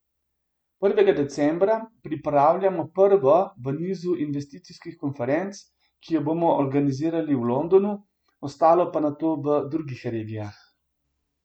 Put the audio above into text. Prvega decembra pripravljamo prvo v nizu investicijskih konferenc, ki jo bomo organizirali v Londonu, ostale pa nato v drugih regijah.